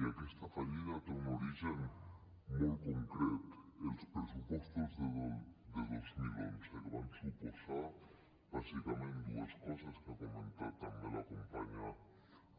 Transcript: i aquesta fallida té un origen molt concret els pressupostos de dos mil onze que van suposar bàsicament dues coses que ha comentat també la companya